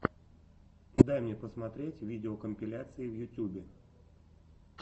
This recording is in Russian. дай мне посмотреть видеокомпиляции в ютубе